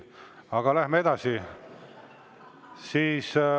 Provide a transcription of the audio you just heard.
Aga läheme edasi.